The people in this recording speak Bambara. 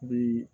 Bi